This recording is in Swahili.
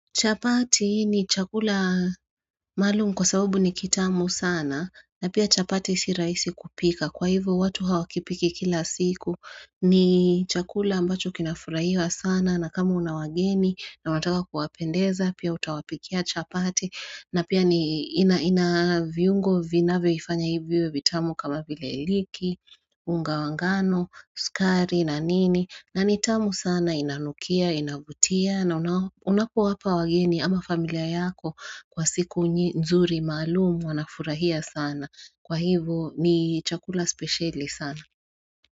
Chapati ni chakula malum kwa sabubu ni kitamu sana na pia chapati siraisi kupika kwa hivyo watu hawakipiki kila siku ni chakula ambacho kinafuraiwa sana na kama una wageni na mataka kuwapendeza pia utawapikia chapati na pia ni ina viungo vinavyoifanya iwe vitamu kama vile liki, unga wa ngano, skari na nini na nitamu sana inanukia, inabutia na unapuwa hapa wageni ama familia yako kwa siku nzuri malumu wanafurahia sana kwa hivyo ni chakula speciali sana.